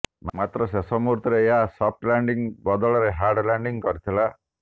ମାତ୍ର ଶେଷ ମୁହୁର୍ତ୍ତରେ ଏହା ସଫ୍ଟ ଲ୍ୟାଣ୍ଡିଂ ବଦଳରେ ହାର୍ଡ ଲ୍ୟାଣ୍ଡିଂ କରିଥିଲା